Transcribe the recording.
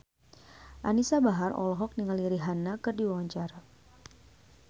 Anisa Bahar olohok ningali Rihanna keur diwawancara